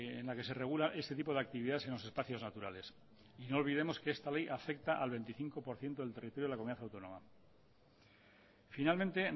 en la que se regula este tipo de actividades en los espacios naturales y no olvidemos que esta ley afecta al veinticinco por ciento del territorio de la comunidad autónoma finalmente